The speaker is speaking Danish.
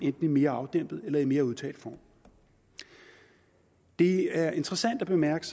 en mere afdæmpet eller i en mere udtalt form det er interessant at bemærke